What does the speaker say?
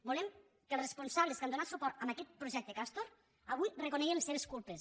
volem que els responsables que han donat suport a aquest projecte castor avui reconeguin les seves culpes